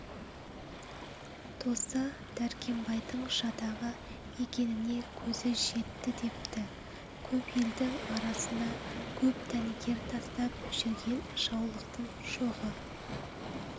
досы дәркембайдың жатағы екеніне көзі жетті депті көп елдің арасына көп дәнекер тастап жүрген жаулықтын шоғы